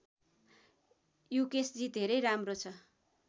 युकेशजी धेरै राम्रो छ